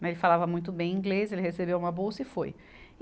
Mas ele falava muito bem inglês, ele recebeu uma bolsa e foi.